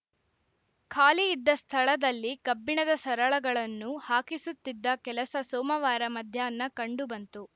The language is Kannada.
ಖಾಲಿ ಇದ್ದ ಸ್ಥಳದಲ್ಲಿ ಕಬ್ಬಿಣದ ಸರಳಗಳನ್ನು ಹಾಕಿಸುತ್ತಿದ್ದ ಕೆಲಸ ಸೋಮವಾರ ಮಧ್ಯಾಹ್ನ ಕಂಡು ಬಂತು